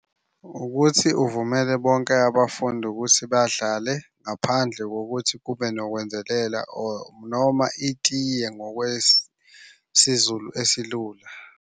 Ukuthi uvumele bonke abafundi ukuthi badlale ngaphandle kokuthi kube nokwenzelela or noma itiye ngokwesiZulu esilula.